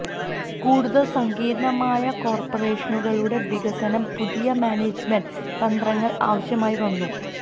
കൂടുതൽ സങ്കീർണ്ണമായ കോർപ്പറേഷനുകളുടെ വികസനം പുതിയ മാനേജ്മെന്റ് തന്ത്രങ്ങൾ ആവശ്യമായി വന്നു